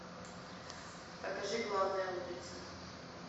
покажи главная улица